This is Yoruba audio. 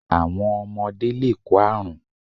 Àwọn ọmọde lè kó àrún